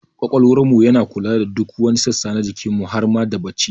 Ƙwaƙwalwar mu yana kula da duk wani sassa na jikin mu har ma da bacci